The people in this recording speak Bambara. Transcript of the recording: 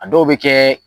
A dɔw bɛ kɛ